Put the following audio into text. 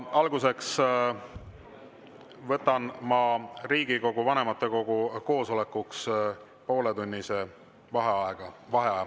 Alustuseks võtan ma Riigikogu vanematekogu koosolekuks pooletunnise vaheaja.